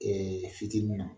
Fitini na